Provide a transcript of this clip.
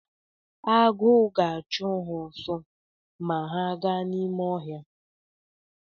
Agụ ga-achụ ha ọsọ ma ha gaa n’ime ọhịa